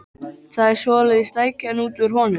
Það er svoleiðis stækjan út úr honum!